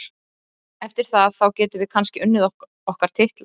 Eftir það, þá getum við kannski unnið okkar titla.